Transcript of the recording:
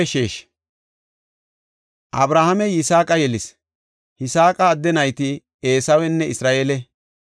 Abrahaamey Yisaaqa yelis. Yisaaqa adde nayti Eesawenne Isra7eele.